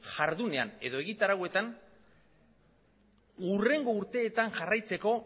jardunean edo egitarauetan hurrengo urteetan jarraitzeko